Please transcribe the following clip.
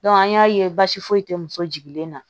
an y'a ye baasi foyi tɛ muso jigilen na